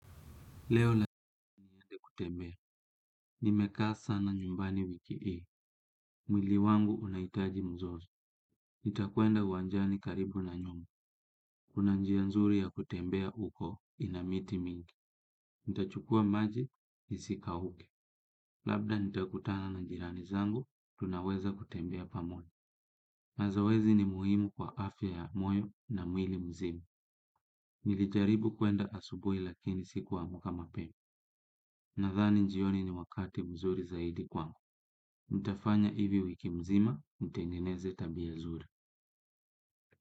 Leo la kutembea. Ni mekaa sana nyumbani wiki ii. Mwili wangu unaitaji mzozo. Itakuenda wanjani karibu na nyumba. Kuna njia nzuri ya kutembea uko ina miti mingi. Itachukua maji, isika uke. Labda nitakutana na njirani zangu, tunaweza kutembea pamoja. Mazoezi ni muhimu kwa afya ya moyo na mwili mzima. Nilijaribu kuenda asubui lakini sikuamuka mapema. Nadhani njioni ni wakati mzuri zaidi kwangu, nitafanya hivi wiki mzima, ntengeneze tabia zuri.